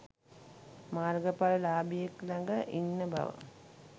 මාර්ග පල ලාභියෙක් ළඟ ඉන්න බව.